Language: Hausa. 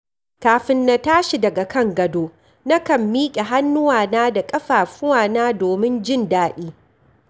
Kafin na tashi daga kan gado, nakan miƙe hannuwana da ƙafafuwana domin jin daɗi.